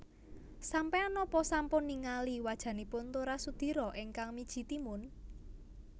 Sampean nopo sampun ningali wajanipun Tora Sudiro ingkang miji timun?